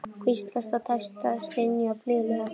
Hvíslast á og dæsa og stynja blíðlega.